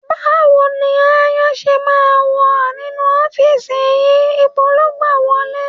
Báwo ni aáyán ṣe máa wà nínú ọ́fíìsì yìí? Ibo ló gbà wọlé?